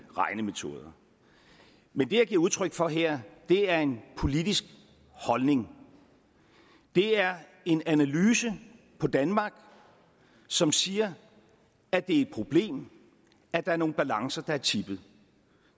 regnemetoder men det jeg giver udtryk for her er en politisk holdning det er en analyse af danmark som siger at det er et problem at der er nogle balancer der er tippet